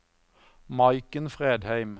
Maiken Fredheim